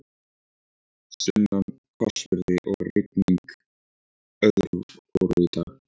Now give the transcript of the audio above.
Sunnan hvassviðri og rigning öðru hvoru í dag.